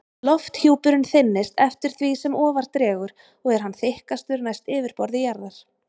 Lofthjúpurinn þynnist eftir því sem ofar dregur og er hann þykkastur næst yfirborði jarðar.